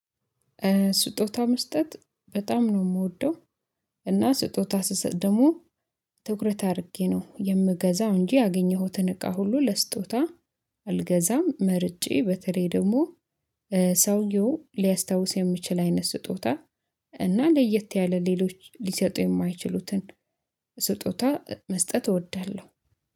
ስጦታ መስጠት በጣም ነው የምወደው። እና ስጦታ ስሰጥ ደግሞ ትኩረት አድርጌ ነው የምገዛው እንጂ ያገኘኸው ትንቃ ሁሉ ለስጦታ አልገዛም። መርጬ በተለይ ደግሞ ሰውየው ሊያስታውስ የሚችል አይነት ስጦታ። እና ለየት ያለ ሌሎች ሊሰጡ የማይችሉትን ስጦታ መስጠት እወዳለሁ።